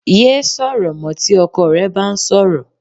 Yéé sọ̀rọ̀ mọ́ tí ọkọ rẹ bá ń sọ̀rọ̀